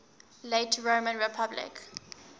late roman republic